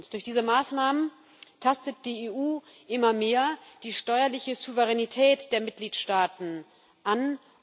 Durch diese Maßnahmen tastet die EU immer mehr die steuerliche Souveränität der Mitgliedstaaten an.